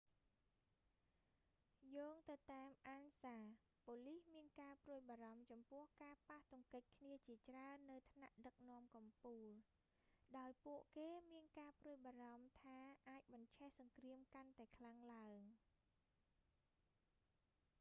យោងទៅតាម ansa បូលីសមានការព្រួយបារម្ភចំពោះការប៉ះទង្គិចគ្នាជាច្រើននៅថ្នាក់ដឹកនាំកំពូល ដោយពួកគេមានការព្រួយបារម្ភថាអាចបញ្ឆេះសង្គ្រាមកាន់តែខ្លាំងឡើង